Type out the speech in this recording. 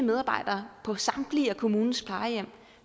der på samtlige gladsaxe kommunes plejehjem